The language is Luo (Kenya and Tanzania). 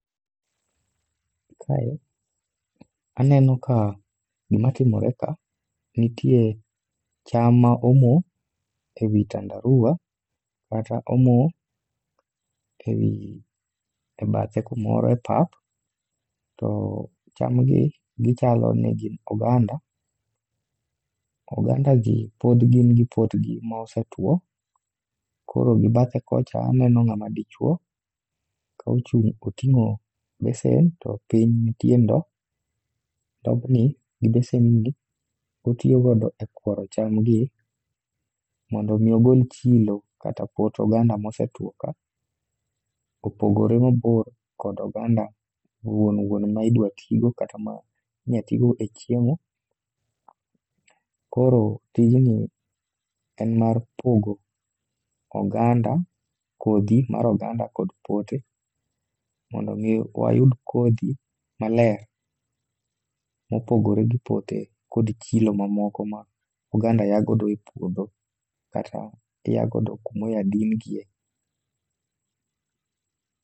Kae, aneno ka gima timore ka, nitie cham ma omo ewi tandarua, kata omo ewi e bathe kumoro e pap. To cham gi gichalo ni gin oganda, oganda gi pod gin gi potgi ma osetwo. Koro gi bathe kocha aneno ng'ama dichuo, ka ochung' oting'o besen to piny nitie ndo. Ndobni gi besen ni otiyogodo e kworo chamgi, mondo mi ogol chilo kata pot oganda mosetwo ka. Kopogore mabor kod oganda wuon wuon ma idwa tigo kata ma inya tigo e chiemo. Koro tijni en mar pogo oganda, kodhi mar oganda kod pote, mondo mi wayud kodhi maler. Mopogore gi pote kod chilo mamoko ma oganda ya godo e puodho kata ya godo kumo ya din gie.